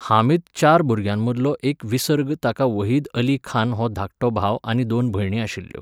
हामीद चार भुरग्यांमदलो एक विसर्ग ताका वहीद अली खान हो धाकटो भाव आनी दोन भयणी आशिल्ल्यो.